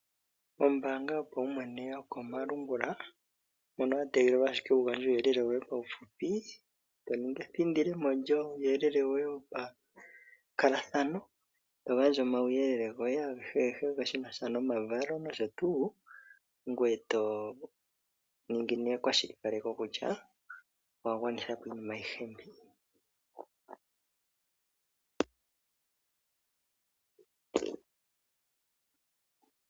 Ombaanga yopaumwene yokomalungula ndyono ya tegelela ashike wu gandje uuyelele woye paufupi, to ningi ethindilemo lyuuyelele woye wopa nkalathano, togandja omauyelele gwoye agehe shinasha nomavalo nosho tuu ngweye to ningi ekwashilipaleko kutya owa gwanithapo iinima ayihe mbyo